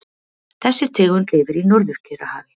Þessi tegund lifir í Norður-Kyrrahafi.